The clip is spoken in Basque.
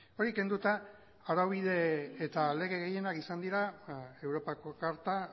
hori kenduta araubide eta lege gehienak izan dira europako karta